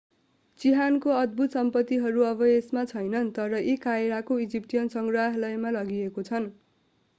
चिहानको अद्भुत सम्पत्तिहरू अब यसमा छैनन् तर यी कायरोको इजिप्टियन सङ्ग्रहालयमा लगिएका छन्